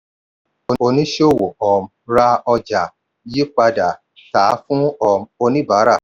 oníṣòwò um ra ọjà yí padà tà á fún um oníbárà.